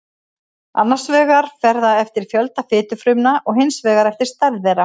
annars vegar fer það eftir fjölda fitufrumna og hins vegar eftir stærð þeirra